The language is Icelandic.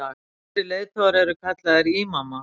þessir leiðtogar eru kallaðir ímamar